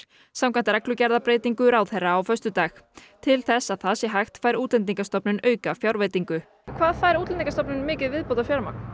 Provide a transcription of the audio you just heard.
samkvæmt reglugerðarbreytingu ráðherra á föstudag til þess að það sé hægt fær Útlendingastofnun aukafjárveitingu hvað fær Útlendingastofnun mikið viðbótarfjármagn